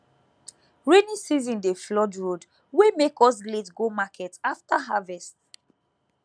rainy season dey flood road wey make us late go market after harvest